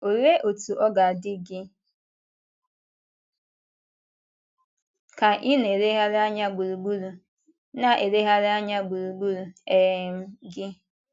Olee otú ọ ga-adị gị ka ị na-elegharị anya gburugburu na-elegharị anya gburugburu um gị?